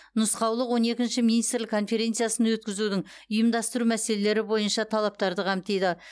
нұсқаулық он екінші министрлік конференциясын өткізудің ұйымдастыру мәселелері бойынша талаптарды қамтиды